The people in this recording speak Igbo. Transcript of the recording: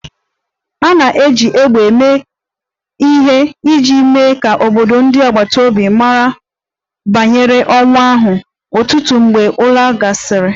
A na-eji égbè eme ihe iji mee ka obodo ndị agbata obi mara banyere ọnwụ ahụ, ụtụtụ mgbe ụra ahụ gasịrị